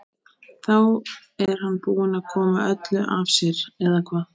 Þá er hann búinn að koma öllu af sér eða hvað?